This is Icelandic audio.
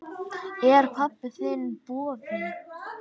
Er pabbi þinn bófi?